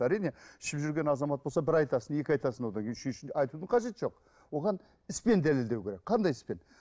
әрине ішіп жүрген азамат болса бір айтасың екі айтасың одан кейін үшіншінде айтудың қажеті жоқ оған іспен дәлелдеу керек қандай іспен